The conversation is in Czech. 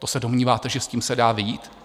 To se domníváte, že s tím se dá vyjít?